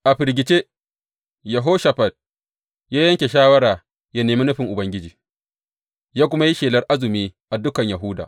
A firgice, Yehoshafat ya yanke shawara yă nemi nufin Ubangiji, ya kuma yi shelar azumi a dukan Yahuda.